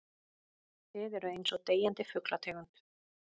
Þið eruð einsog deyjandi fuglategund.